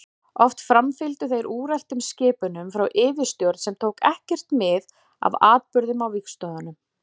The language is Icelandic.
Oft framfylgdu þeir úreltum skipunum frá yfirstjórn sem tók ekkert mið af atburðum á vígstöðvunum.